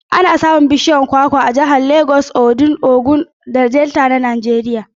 Ana samun bishiyun kwakwa a jihohin Lagos, Ondo, Ogun da Delta na Najeriya.